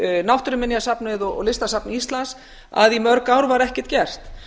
náttúruminjasafnið og listasafn íslands að í mörg ár var ekkert gert